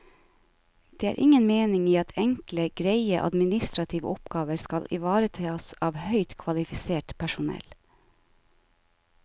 Det er ingen mening i at enkle, greie administrative oppgaver skal ivaretas av høyt kvalifisert personell.